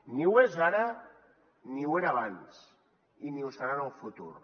ni ho és ara ni ho era abans i ni ho serà en el futur